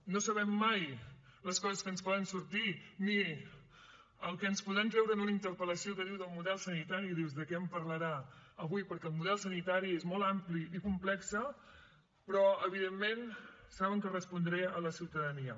no sabem mai les coses que ens poden sortir ni el que ens podran treure en una interpel·lació que diu del model sanitari i dius de què em parlarà avui perquè el model sanitari és molt ampli i complex però evidentment saben que respondré a la ciutadania